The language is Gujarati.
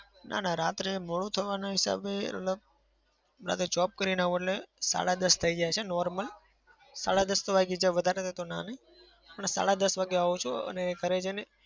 ના ના. રાત્રે મોડું થવાના હિસાબે મતલબ રાતે job કરીને આવું એટલે સાડા દસ થઇ જાય છે normal સાડા દસ તો વાગી જ જાય. વધારે થાય તો ના નહિ પણ સાડા દસ વાગે આવું છું અને ઘરે જઈને